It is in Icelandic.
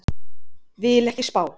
Vil ekki spá.